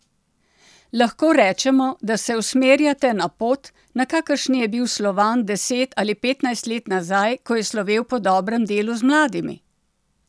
Lahko rečemo, da se usmerjate na pot, na kakršni je bil Slovan deset ali petnajst let nazaj, ko je slovel po dobrem delu z mladimi?